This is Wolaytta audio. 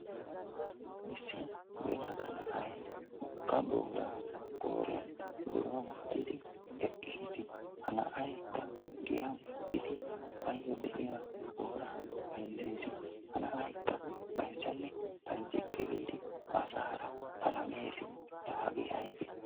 Issi yelaga na'ay wogga booraa qooriyan wodoruwa wottidi eqqiis. Ha na'aykka giyan eqqidi baayyo de'iya booraa bayzzees. Ha na'aykka bayzzanne bayzzikke giidi asaara palamees, laa hagee aybee?